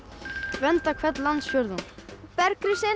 vernda hvern landsfjórðung